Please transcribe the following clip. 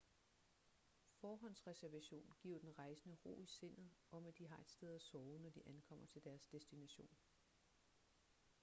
forhåndsreservation giver den rejsende ro i sindet om at de har et sted at sove når de ankommer til deres destination